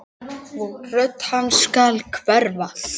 Rödd hans skal hverfa.